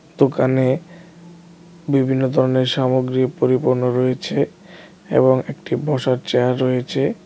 দোকানে বিভিন্ন ধরনের সামগ্রী পরিপূর্ণ রয়েছে এবং একটি বসার চেয়ার রয়েছে .